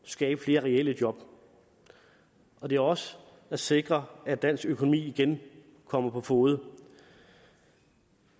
skabe flere reelle job og det er også at sikre at dansk økonomi igen kommer på fode